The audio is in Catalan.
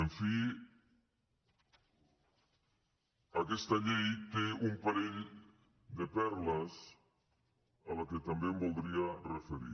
en fi aquesta llei té un parell de perles a què també em volia referir